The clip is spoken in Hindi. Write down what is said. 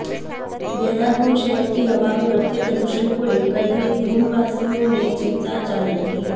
देहरादून शहर की हवा में बढ़ते प्रदूषण को लेकर भी दूनवासियों ने चिंता जाहिर की